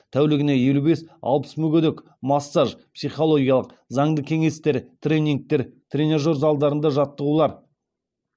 тәулігіне елу бес алпыс мүгедек массаж психологиялық заңды кеңестер тренингтер тренажер залдарында жаттығулар